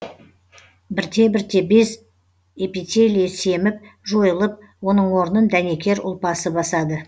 бірте бірте без эпителиі семіп жойылып оның орнын дәнекер ұлпасы басады